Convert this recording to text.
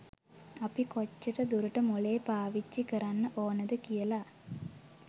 අපි කොච්චර දුරට මොලේ පාවිච්චි කරන්න ඔනද කියලා.